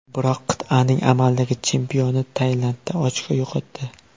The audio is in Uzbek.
Biroq qit’aning amaldagi chempioni Tailandda ochko yo‘qotdi.